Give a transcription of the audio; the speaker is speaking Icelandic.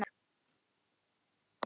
Nei, bíddu nú hæg!